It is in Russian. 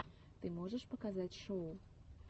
ты можешь показать шоу